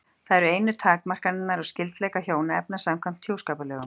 Það eru einu takmarkanirnar á skyldleika hjónaefna samkvæmt hjúskaparlögum.